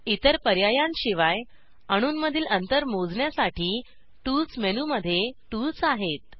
इतर पर्यायांशिवाय अणूंमधील अंतर मोजण्यासाठी टूल्स मेनूमध्ये टुल्स आहेत